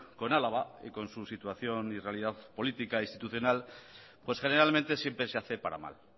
con álava y con su situación y realidad política e institucional pues generalmente siempre se hace para mal